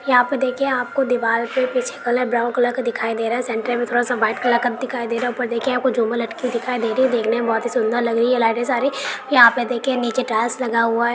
यहाँ पर देखिये आपको दीवाल के पीछे कलर ब्राउन कलर का दिखाई दे रहा है सेण्टर में थोड़ा सा व्हाइट कलर का दिखाई दे रहा है ऊपर देखिए झूमर लटकी हुई दिखाई दे रही हैं देखने में बहुत ही सुंदर लग रही हैं लाइटें सारी यहाँ पर देखिये नीचे टाइल्स लगा हुआ है।